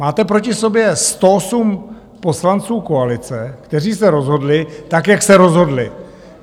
Máte proti sobě 108 poslanců koalice, kteří se rozhodli tak, jak se rozhodli.